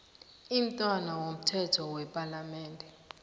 imntwana womthetho wepalamende